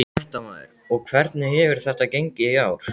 Fréttamaður: Og hvernig hefur þetta gengið í ár?